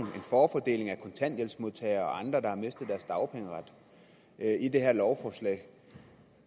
forfordeling af kontanthjælpsmodtagere og andre der har mistet deres dagpengeret i det her lovforslag